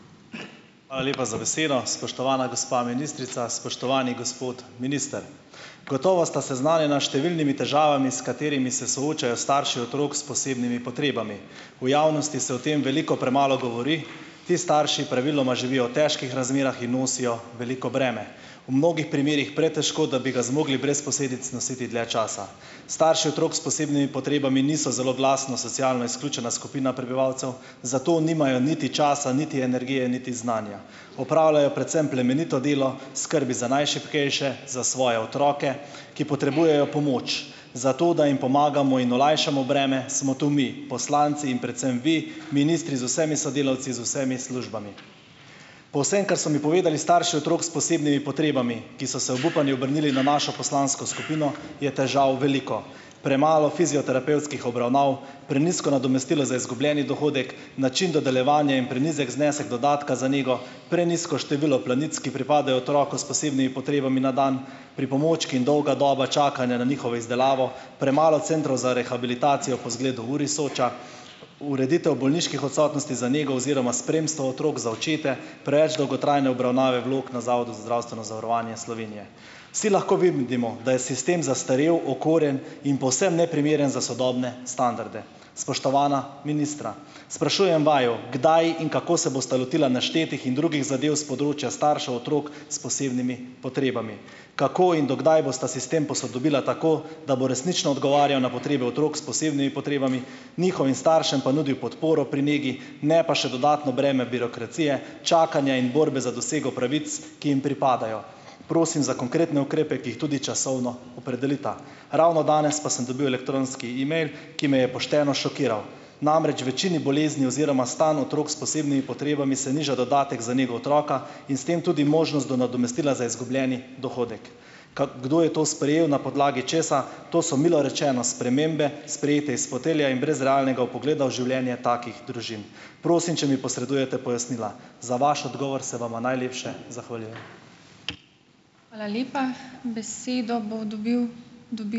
Hvala lepa za besedo. Spoštovana gospa ministrica, spoštovani gospod minister! Gotovo sta seznanjena s številnimi težavami, s katerimi se soočajo starši otrok s posebnimi potrebami. V javnosti se o tem veliko premalo govori. Ti starši praviloma živijo v težkih razmerah in nosijo veliko breme. V mnogih primerih pretežko, da bi ga zmogli brez posledic nositi dlje časa. Starši otrok s posebnimi potrebami niso zelo glasna socialno izključena skupina prebivalcev, zato nimajo niti časa niti energije niti znanja. Opravljajo predvsem plemenito delo, skrbi za najšibkejše, za svoje otroke, ki potrebujejo pomoč. Zato da jim pomagamo in olajšamo breme, smo tu mi, poslanci in predvsem vi, ministri z vsemi sodelavci, z vsemi službami. Po vsem, kar so mi povedali starši otrok s posebnimi potrebami, ki so se obupani obrnili na našo poslansko skupino, je težav veliko. Premalo fizioterapevtskih obravnav, prenizko nadomestilo za izgubljeni dohodek, način dodeljevanja in prenizek znesek dodatka za nego, prenizko število plenic, ki pripadajo otroku s posebnimi potrebami na dan, pripomočki in dolga doba čakanja na njihovo izdelavo, premalo centrov za rehabilitacijo po izgledal URI Soča, ureditev bolniških odsotnosti za nego oziroma spremstvo otrok za očete, preveč dolgotrajne obravnave vlog na Zavodu za zdravstveno zavarovanje Slovenije. Vsi lahko vidimo, da je sistem zastarel, okoren in povsem neprimeren za sodobne standarde. Spoštovana ministra! Sprašujem vaju, kdaj in kako se bosta lotila naštetih in drugih zadev s področja staršev otrok s posebnimi potrebami. Kako in do kdaj bosta sistem posodobila tako, da bo resnično odgovarjal na potrebe otrok s posebnimi potrebami, njihovim staršem pa nudil podporo pri negi, ne pa še dodatno breme birokracije, čakanja in borbe za dosego pravic, ki jim pripadajo? Prosim za konkretne ukrepe, ki jih tudi časovno opredelita. Ravno danes pa sem dobil elektronski email, ki me je pošteno šokiral. Namreč večini bolezni oziroma stanj otrok s posebnimi potrebami se niža dodatek za nego otroka in s tem tudi možnost do nadomestila za izgubljeni dohodek. Kaj kdo je to sprejel, na podlagi česa? To so milo rečeno spremembe sprejete iz fotelja in brez realnega vpogleda v življenje takih družin. Prosim, če mi posredujete pojasnila. Za vaš odgovor se vama najlepše zahvaljuje.